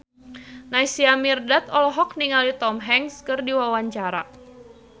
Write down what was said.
Naysila Mirdad olohok ningali Tom Hanks keur diwawancara